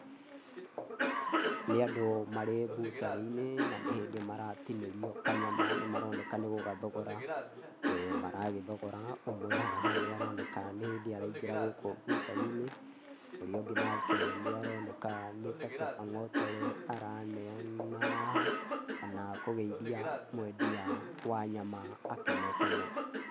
Nĩ andũ marĩ mbucarĩ-inĩ na nĩhĩndĩ maratinĩrio kanyama nĩmaroneka nĩ gũgathogora maragĩthogora, ũmwe e haha nĩ aroneka nĩhĩndĩ araingĩra gũkũ mbucarĩ-inĩ ũrĩa ũngĩ nake nĩaroneka nĩta tũmang'otore araneana haha kana kũgeithia mũendia wa nyama akenete mũno.